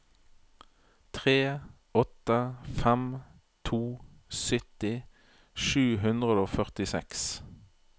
tre åtte fem to sytti sju hundre og førtiseks